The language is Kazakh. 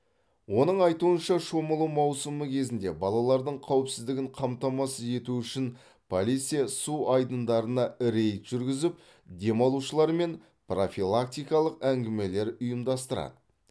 оның айтуынша шомылу маусымы кезінде балалардың қауіпсіздігін қамтамасыз ету үшін полиция су айдындарына рейд жүргізіп демалушылармен профилактикалық әңгімелер ұйымдастырады